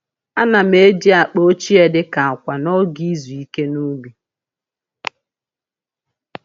A na'm eji akpa ochie dị ka akwa n’oge izu ike n’ubi.